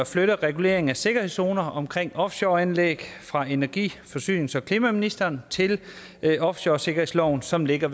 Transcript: flytte reguleringen af sikkerhedszoner omkring offshoreanlæg fra energi forsynings og klimaministeren til offshoresikkerhedsloven som ligger